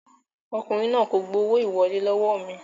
Ọkùnrin náà kò gbowó ìwọlé lọ́wọ́ mi